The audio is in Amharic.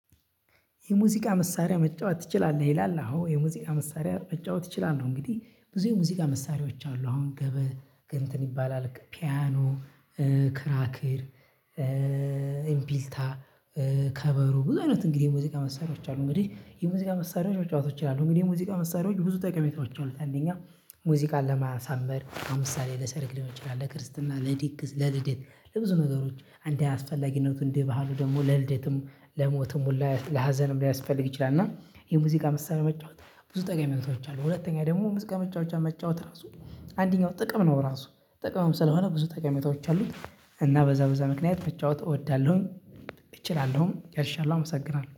የሙዚቃ መሳሪያ መጫወት ትችላለህ? ይላል? አዎ የሙዚቃ መሳሪያ መጫወት እችላለሁ እንግዲህ ብዙ የሙዚቃ መሳሪያዎች አሉ አሁን ገበ ግንትን ይባላል ፒያኖ። ክራክር እምቢልታ ከበሮ ብዙ አይነት እንግዲህ የሙዚቃ መሳሪያዎች አሉ። እንግዲህ የሙዚቃ መሳሪያዎች መጫወት እችላለሁ እንግዲህ የሙዚቃ መሳሪያዎች ብዙ ተቀሜታዎች አሉት። አንደኛ ሙዚቃን ለማሳመር ለምሳሌ ለሰርግ ሊሆን ይችላል ለክርስትና ለድግስ ለልደት ለብዙ ነገሮች እንደ አስፈላጊነቱ እንደ ባህሉ ደግሞ ለልደትም ለሞትም ሁላ ለሀዘንም ሊያስፈልግ ይችላል። እና የሙዚቃ መሳሪያ መጫወት ብዙ ጠቀሜታዎች አሉ። ሁለተኛ ደግሞ ሙዚቃ መጫወቻ መጫወት ራሱ አንደኛው ጥቅም ነው። ራሱ ጥቅምም ስለሆነ ብዙ ጠቀሜታዎች አሉት። እና በዛ በዛ ምክንያት መጫወት እወዳለሁኝ እችላለሁም ጨርሻለሁ አመሰግናለሁ